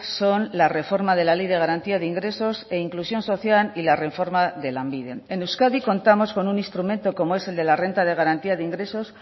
son la reforma de la ley de garantía de ingresos e inclusión social y la reforma de lanbide en euskadi contamos con un instrumento como es el de la renta de garantía de ingresos